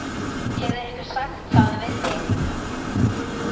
Hefur einhver sagt það við þig?